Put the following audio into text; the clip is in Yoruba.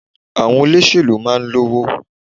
Àwọn olóṣèlú máa n lówó